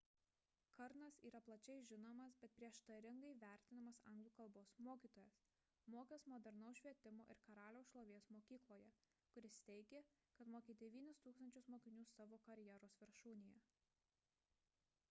karnas yra plačiai žinomas bet prieštaringai vertinamas anglų kalbos mokytojas mokęs modernaus švietimo ir karaliaus šlovės mokykloje kuris teigė kad mokė 9000 mokinių savo karjeros viršūnėje